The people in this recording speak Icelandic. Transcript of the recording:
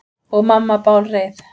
Og mamma bálreið.